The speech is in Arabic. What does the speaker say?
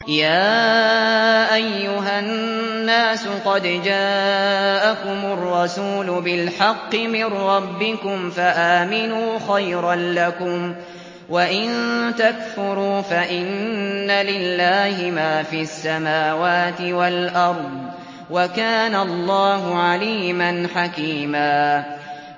يَا أَيُّهَا النَّاسُ قَدْ جَاءَكُمُ الرَّسُولُ بِالْحَقِّ مِن رَّبِّكُمْ فَآمِنُوا خَيْرًا لَّكُمْ ۚ وَإِن تَكْفُرُوا فَإِنَّ لِلَّهِ مَا فِي السَّمَاوَاتِ وَالْأَرْضِ ۚ وَكَانَ اللَّهُ عَلِيمًا حَكِيمًا